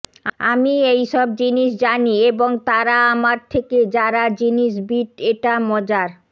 আমি এই সব জিনিস জানি এবং তারা আমার থেকে যারা জিনিস বীট এটা মজার